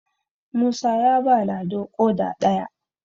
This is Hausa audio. musa ya ba lado ƙoda ɗaya